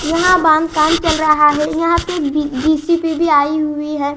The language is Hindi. यहाँ बांद काम चल रहा है यहाँ पे भी जि_सि_बी आई हुई है।